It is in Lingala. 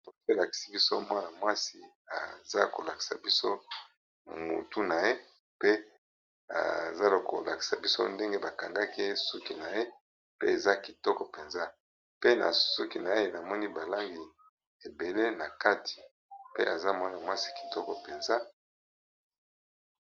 Foto elakisi biso mwana mwasi aza kolakisa biso mutu na ye, pe aza kolakisa biso ndenge bakangaki ye suki na ye pe eza kitoko mpenza pe na suki na ye namoni balangi ebele na kati pe eza mwana mwasi kitoko mpenza.